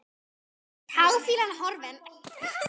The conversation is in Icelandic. Táfýlan horfin.